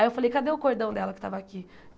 Aí eu falei, cadê o cordão dela que estava aqui?